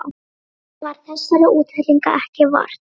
Eftir það varð þessara útfellinga ekki vart.